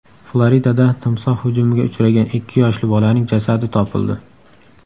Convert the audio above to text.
Floridada timsoh hujumiga uchragan ikki yoshli bolaning jasadi topildi.